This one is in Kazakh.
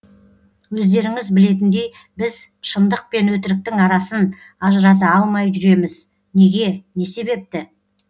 өздеріңіз білетіндей біз шыңдық пен өтіріктің арасын ажырата алмай жүреміз неге не себепті